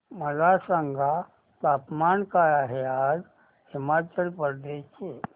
मला सांगा तापमान काय आहे आज हिमाचल प्रदेश चे